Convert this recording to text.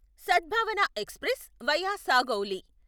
సద్భావన express via Sagauli